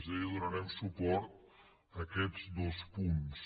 és a dir donarem suport a aquests dos punts